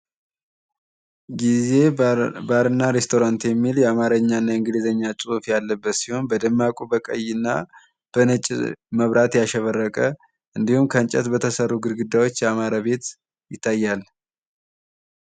ይሄ ባር እና ሬስቶራንት የሚል የአማርኛ እና የእንግሊዘኛ ጽሁፍ ያለበት ሲሆን በደማቁ በቀይ እና በነጭ መብራት ያሸበረቀ እንዲሁም ከእንጨት በተሰሩ ግድግዳዎች ያማረ ቤት ይታያል።